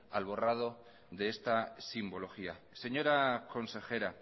al borrado de esta simbología señora consejera